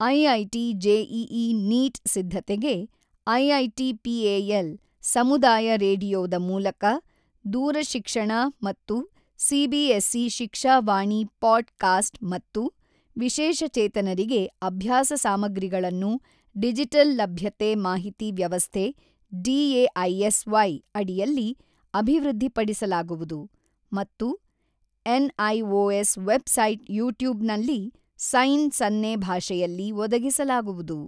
IIT JEE NEET ಸಿದ್ಧತೆಗೆ IIT PAL, ಸಮುದಾಯ ರೇಡಿಯೋದ ಮೂಲಕ ದೂರಶಿಕ್ಷಣ ಮತ್ತು CBSE Shiksha Vani podcast ಮತ್ತು ವಿಶೇಷಚೇತನರಿಗೆ ಅಭ್ಯಾಸ ಸಾಮಗ್ರಿಗಳನ್ನು ಡಿಜಿಟಲ್ ಲಭ್ಯತೆ ಮಾಹಿತಿ ವ್ಯವಸ್ಥೆ ಡಿಎಐಎಸ್ ವೈ ಅಡಿಯಲ್ಲಿ ಅಭಿವೃದ್ಧಿಪಡಿಸಲಾಗುವುದು ಮತ್ತು N IOS website YouTube ನಲ್ಲಿ ಸೈನ್ ಸನ್ನೆ ಭಾಷೆಯಲ್ಲಿ ಒದಗಿಸಲಾಗುವುದು.